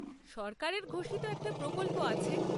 সরকারের ঘোষিত একটা প্রকল্প আছে।